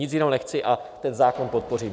Nic jiného nechci a ten zákon podpořím.